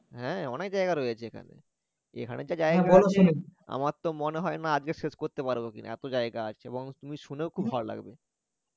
হ্যা অনেক জায়গা রয়েছে এখানে এখানে যে জায়গা আমার তো মনে হয় না আজকে শেষ করতে পারবো কিনা এত জায়গা আছে এবং তুমি শুনেও খুব ভালো লাগবে